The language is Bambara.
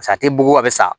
Sa a tɛ buguba a bɛ sa